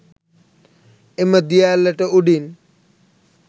එම දිය ඇල්ලට උඩින්